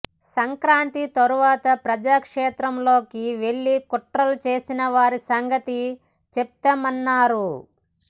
సంక్రాంతి తర్వాత ప్రజాక్షేత్రంలోకి వెళ్లి కుట్రలు చేసిన వారి సంగతి చెప్తామన్నారు